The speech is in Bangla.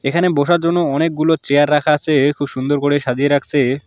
এখানে বসার জন্য অনেকগুলো চেয়ার রাখা আসে খুব সুন্দর করে সাজিয়ে রাখসে।